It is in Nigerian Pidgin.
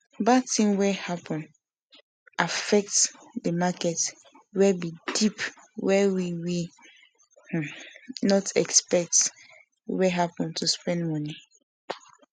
bad thing wey happen affect the market wey be dip wey we we um not expect wey happen to spend money